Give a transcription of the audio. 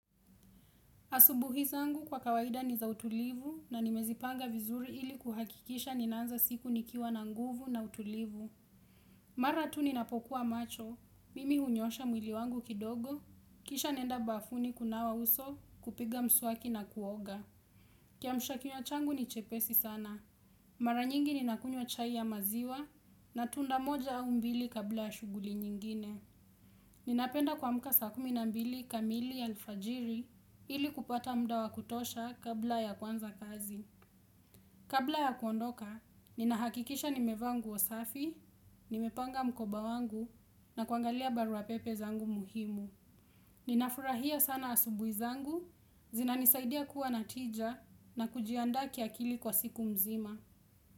Asubuhi zangu kwa kawaida ni za utulivu na nimezi panga vizuri ili kuhakikisha ninaanza siku nikiwa na nguvu na utulivu. Mara tu ninapokuwa macho, mimi hunyoosha mwili wangu kidogo, kisha naenda bafuni kunawa uso kupiga mswaki na kuoga. Kiamshakiwa changu ni chepesi sana. Mara nyingi ninakunywa chai ya maziwa na tunda moja au mbili kabla ya shuguli nyingine. Ninapenda kuamuka saa kumi na mbili kamili ya lfajiri ili kupata muda wa kutosha kabla ya kuanza kazi. Kabla ya kuondoka, ninahakikisha nimevaa ngu o safi, nimepanga mkoba wangu na kuangalia barua pepe zangu muhimu. Ninafurahia sana asubuhizangu, zinanisaidia kuwa na tija na kujianda kiakili kwa siku mzima.